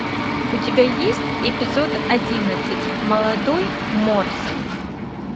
у тебя есть эпизод одиннадцать молодой морс